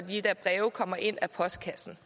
de der breve kommer ind ad postkassen